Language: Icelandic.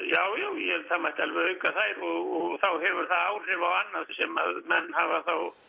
já já það mætti alveg auka þær og þá hefur það áhrif á annað sem menn hafa